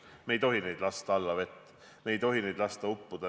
Me ei tohi lasta neid allavett, me ei tohi lasta neil uppuda.